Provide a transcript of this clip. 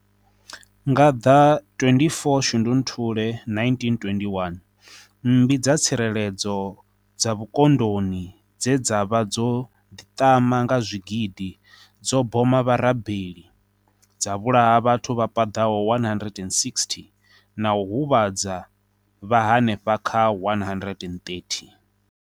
Nga ḓa 24 Shundunthule 1921, Mmbi dza tshireledzo dza vhukoḓoni dze dza vha dzo ḓiḓama nga zwigidi dzo boma vharabeli, dza vhulaha vhathu vha paḓaho 160 na u huvhadza vha henefha kha 130.